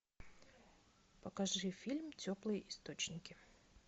покажи фильм теплые источники